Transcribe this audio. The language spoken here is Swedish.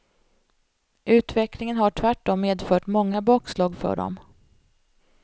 Utvecklingen har tvärtom medfört många bakslag för dem.